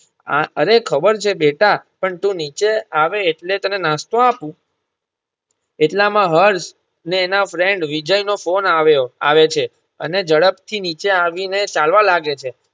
અમ અરે ખબર છે બેટા પણ તું નીચે આવે એટલે તને નાસ્તો આપું એટલા માં હર્ષને એના friend વિજય નો ફોન આવ્યો આવે છે અને ઝડપ થી નીચે આવી ને ચાલવા લાગે છે.